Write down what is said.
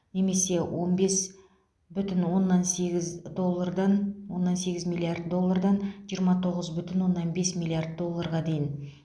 немесе он бес бүтін оннан сегіз доллардан оннан сегіз миллиард доллардан жиырма тоғыз бүтін оннан бес миллиард долларға дейін